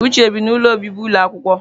Uche bi n'ụlọ obibi ụlọ akwụkwọ.